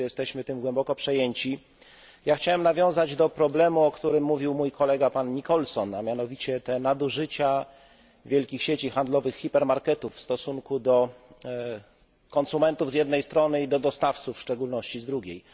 Wszyscy jesteśmy tym głęboko przejęci. Chciałem nawiązać do problemu, o którym mówił mój kolega, pan Nicholson, a mianowicie o nadużyciach wielkich sieci handlowych, hipermarketów w stosunku do konsumentów z jednej strony i do dostawców, w szczególności, z drugiej.